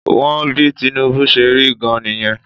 Wọ́n bí Tinubu ṣe rí gan-an nìyẹn